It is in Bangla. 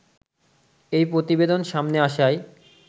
এই প্রতিবেদন সামনে আসায়